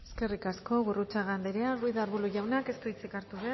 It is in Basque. eskerrik asko gurrutxaga anderea ruiz de arbulo jaunak ez du hitzik hartu